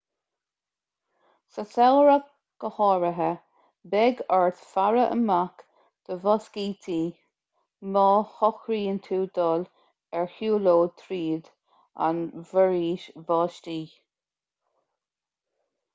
sa samhradh go háirithe beidh ort faire amach do mhoscítí má shocraíonn tú dul ar shiúlóid tríd an bhforaois bháistí